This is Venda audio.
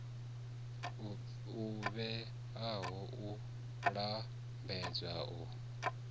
o vhewaho u lambedza u